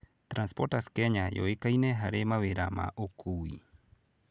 Transporters Kenya yũĩkaine harĩ mawĩra ma ũũkui.